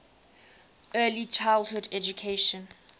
early childhood education